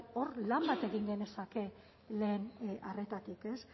hor lan bat egin genezake lehen arretatik